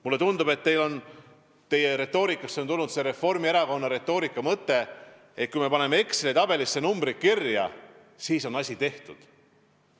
Mulle tundub, et teie retoorikasse on tulnud see Reformierakonna retoorika mõte, et kui me paneme Exceli tabelisse mingid numbrid kirja, siis on asi tehtud.